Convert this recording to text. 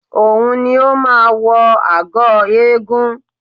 Òun ni ó máa wọ agọ̀ eégún